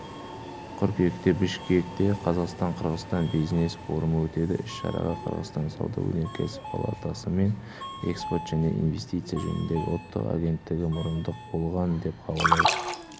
қыркүйекте бішкекте қазақстан-қырғызстан бизнес форумы өтеді іс-шараға қырғызстан сауда-өнеркәсіп палатасы мен экспорт және инвестиция жөніндегі ұлттық агенттігі мұрындық болған деп хабарлайды